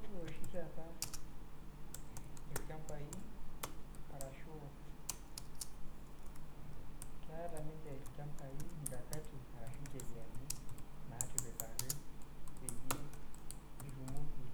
Ore oshi taata olchambai, keata ninche ilchambai incheriani arashu mikakati naatipikaki peyie itumoki